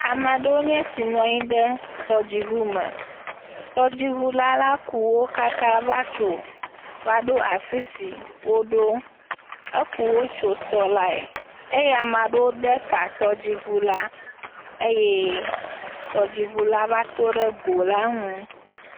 Ame aɖewo nye esi nɔ anyi ɖe tɔdziʋu me. Tɔdziʋula la, fatsowo ɖo afi si ɖo. Ekuwo tso tɔ lae eye ame aɖe ɖe ga tɔdziʋu lã eye tɔdziʋu lã va tɔ ɖe go la ŋu.